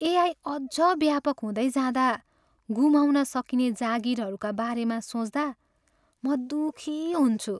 AI अझ व्यापक हुँदै जाँदा गुमाउन सकिने जागिरहरूका बारेमा सोच्दा म दुखी हुन्छु।